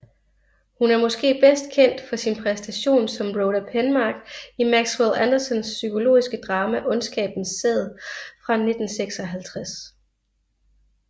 Hun er måske bedst kendt for sin præstation som Rhoda Penmark i Maxwell Andersons psykologiske drama Ondskabens sæd fra 1956